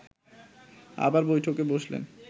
আবার বৈঠকে বসলেন